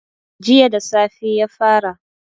Jiya da safe ya fara